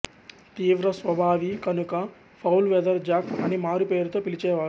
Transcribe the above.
తీవ్రస్వభావి కనుక foul weather Jack అని మారు పేరుతో పిలిచే వారు